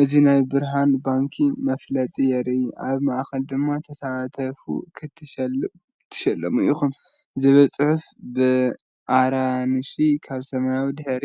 እዚ ናይ ብርሃን ባንኪ መፋለጢ የርኢ። ኣብ ማእከል ድማ “ተሳተፉ ክትሽለሙ ኢኹም” ዝብል ጽሑፍ ብኣራንሺ ኣብ ሰማያዊ ድሕረ